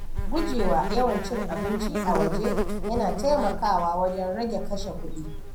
Gujewa yawan cin abinci a waje yana taimakawa wajen rage kashe kuɗi.